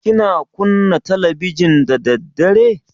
Kina kunna talabijin da daddare?